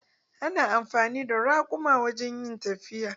Ana amfani da raƙuma wajen yin tafiya.